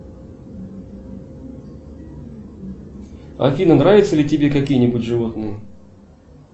афина нравятся ли тебе какие нибудь животные